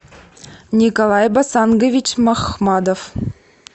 николай басангович махмадов